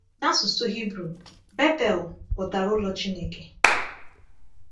N’asụsụ Hibru, “Bethel” pụtara “Ụlọ Chineke.”